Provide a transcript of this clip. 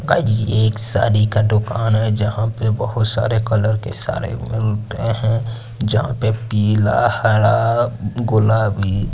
एक सारी का दुकान कान है जहां पे बहोत सारे कलर के सारे हैं जहां पे पीला हरा गुलाबी--